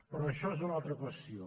però això és una altra qüestió